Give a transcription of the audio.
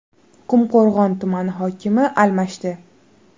Qumqo‘rg‘on tumani hokimi almashdi.